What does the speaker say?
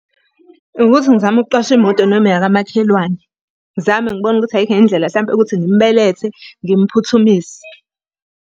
Ukuthi ngizame ukuqasha imoto noma eyakamakhelwane. Ngizame ngibona ukuthi ayikho yini indlela hlampe ukuthi ngimubelethe ngimphuthumise.